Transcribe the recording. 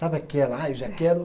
Sabe aquela, ah, eu já quero.